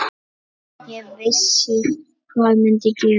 Ég vissi hvað myndi gerast.